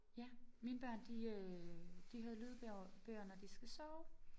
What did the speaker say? Ja mine børn de øh de hører lydbøger bøger når de skal sove